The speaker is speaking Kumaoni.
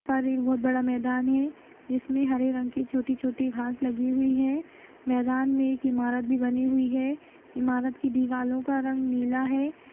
पर एक बहोत बड़ा मैदान है जिसमें हरे रंग की छोटी-छोटी घास लगी हुई है मैदान मे एक इमारत भी बनी हुई है इमारत की दीवालों का रंग नीला है।